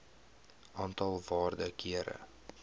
aantal waarde kere